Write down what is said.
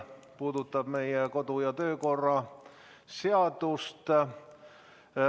See puudutab meie kodu- ja töökorra seadust.